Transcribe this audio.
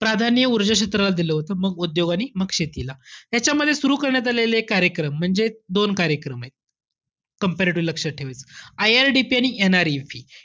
प्राधान्य ऊर्जा क्षेत्राला दिलं होतं मग उद्योग मग शेतीला. ह्याच्यामध्ये सुरु करण्यात आलेले कार्यक्रम म्हणजे, दोन कार्यक्रमेत. comparatively लक्षात ठेवायचं. IRDP आणि NREP.